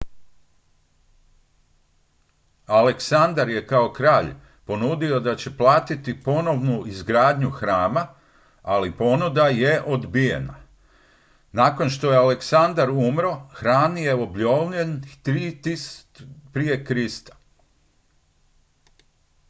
aleksandar je kao kralj ponudio da će platiti ponovnu izgradnju hrama ali ponuda je odbijena nakon što je aleksandar umro hram je obnovljen 323. g pr kr